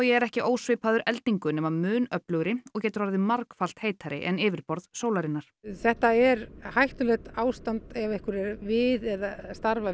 er ekki ósvipaður eldingu nema mun öflugri og getur orðið margfallt heitari en yfirborð sólarinnar þetta er hættulegt ástand ef einhver er við eða starfar